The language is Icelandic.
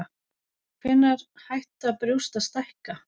Hvenær hætta brjóst að stækka?